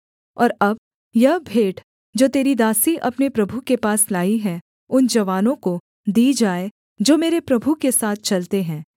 और अब यह भेंट जो तेरी दासी अपने प्रभु के पास लाई है उन जवानों को दी जाए जो मेरे प्रभु के साथ चलते हैं